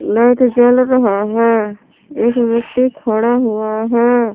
Light जल रहे हैं एक व्यक्ति खड़ा हुआ है।